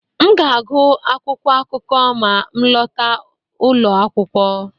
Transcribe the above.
M ga-agụ akwụkwọ akụkọ ma m lọta ụlọ akwụkwọ